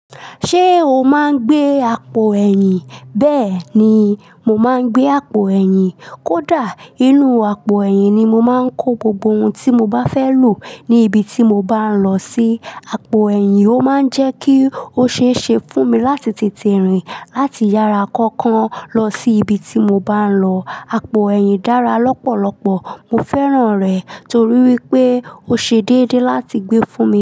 Ṣé o máa ń gbé àpò ẹ̀yìn? Bẹ́ẹ̀ ni, mo máa ń gbé àpò ẹ̀yìn. Kódà, inú àpò ẹ̀yìn ni mo máa ń kó gbogbo ohun tí mo bá fẹ́ lò ní ibi tí mo bá ń lọ sí. Àpò ẹ̀yìn ó máa ń jẹ́ kí ó ṣe é ṣe fún mi láti tètè rìn láti yàrá kankan lọ sí ibi tí mo bá ń lọ. Àpò ẹ̀yìn dára lọ́pọ̀lọpọ̀. Mo fẹ́ràn rẹ̀ torí wípé ó ṣe déédé láti gbé fún mi.